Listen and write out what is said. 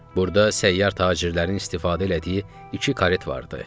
Burda səyyar tacirlərin istifadə elədiyi iki karet vardı.